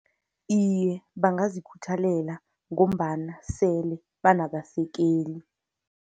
Iye, bangazikhuthalela, ngombana sele banabasekeli.